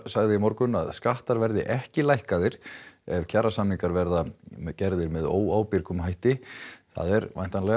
sagði í morgun að skattar verði ekki lækkaðir ef kjarasamningar verða gerðir með óábyrgum hætti það er